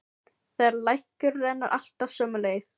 Þeirra lækur rennur alltaf sömu leið.